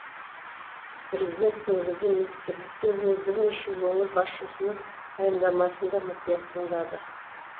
президент негізгі министрліктер мен бірнеше өңір басшысының баяндамасын да мұқият тыңдады